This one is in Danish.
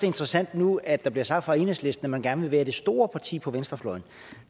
interessant nu at der bliver sagt fra enhedslistens man gerne vil være det store parti på venstrefløjen